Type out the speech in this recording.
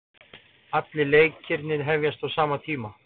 Allir leikirnir hefjast á sama tíma